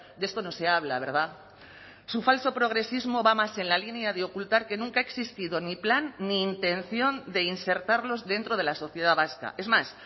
de esto no se habla verdad su falso progresismo va más en la línea de ocultar que nunca ha existido ni plan ni intención de insertarlos dentro de la sociedad vasca es más